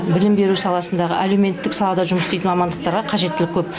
білім беру саласындағы әлеуметтік салада жұмыс істейтін мамандықтарға қажеттілік көп